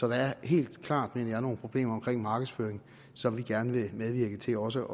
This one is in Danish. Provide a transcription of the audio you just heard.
er helt klart mener jeg nogle problemer omkring markedsføring som vi gerne vil medvirke til også